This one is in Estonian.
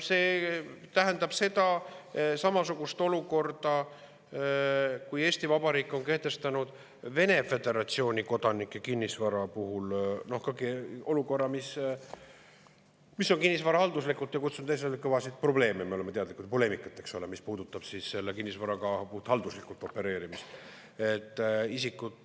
See tähendab samasugust olukorda, nagu Eesti Vabariik on kehtestanud Vene föderatsiooni kodanike kinnisvara puhul, olukorda, mis on halduslikult kutsunud esile kõvasid probleeme, millest me oleme teadlikud, poleemikat, mis puudutab selle kinnisvaraga puhthalduslikult opereerimist.